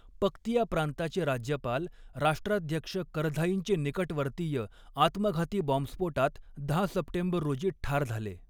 पक्तिया प्रांताचे राज्यपाल, राष्ट्राध्यक्ष करझाईंचे निकटवर्तीय, आत्मघाती बॉम्बस्फोटात दहा सप्टेंबर रोजी ठार झाले.